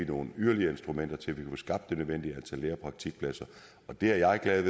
nogle yderligere instrumenter til at vi skabt det nødvendige antal lære og praktikpladser det er jeg glad